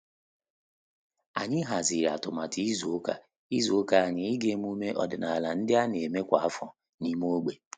Ànyị hàzị̀rị̀ átụ́màtụ́ izu ụka izu ụka ànyị ị́gá emume ọ́dị́nála ndị a nà-émé kwa áfọ́ n’ímé ógbè.